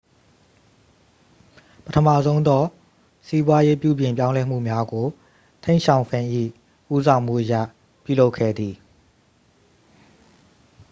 ပထမဆုံးသော စီးပွားရေး ပြုပြင်ပြောင်းလဲမှုများကို တိန့်ရှောင်ဖိန်၏ ဦးဆောင်မှုအရ ပြုလုပ်ခဲ့သည်